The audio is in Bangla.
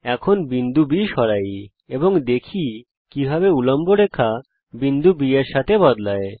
এখন বিন্দু B সরাই এবং দেখি কিভাবে উল্লম্ব রেখা বিন্দু B এর সাথে বদলায়